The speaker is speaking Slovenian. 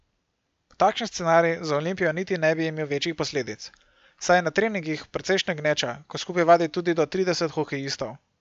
Takšen scenarij za Olimpijo niti ne bi imel večjih posledic, saj je na treningih precejšnja gneča, ko skupaj vadi tudi do trideset hokejistov.